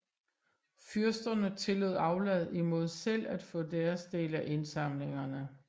Fyrsterne tillod aflad imod selv at få deres del af indsamlingerne